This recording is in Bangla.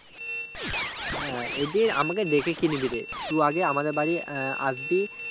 হ্যাঁ আমাকে ডেকে কি নিবিরে টু আগে আমাদের আবাড়ি আসবি